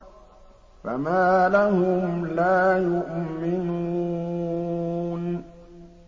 فَمَا لَهُمْ لَا يُؤْمِنُونَ